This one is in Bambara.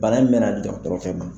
Bana in mɛna dɔgɔtɔrɔ fɛ ban.